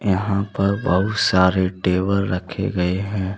यहां पर बहुत सारे टेबल रखे गए हैं।